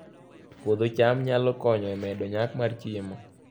Puodho cham nyalo konyo e medo nyak mar chiemo